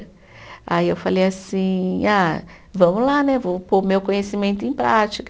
Aí eu falei assim, ah vamos lá né, eu vou pôr meu conhecimento em prática.